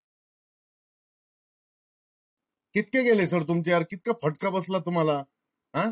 कितके गेले sir तुमचे? आर कितका फटका बसला तुम्हाला? हा